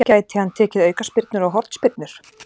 Gæti hann tekið aukaspyrnur og hornspyrnur?